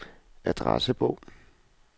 adressebog